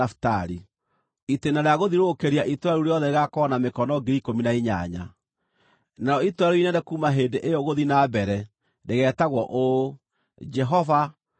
“Itĩĩna rĩa gũthiũrũrũkĩria itũũra rĩu rĩothe rĩgaakorwo na mĩkono 18,000. “Narĩo itũũra rĩu inene kuuma hĩndĩ ĩyo gũthiĩ na mbere rĩgeetagwo ũũ: JEHOVA ARĨ KUO.”